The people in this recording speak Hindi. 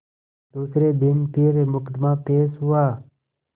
दूसरे दिन फिर मुकदमा पेश हुआ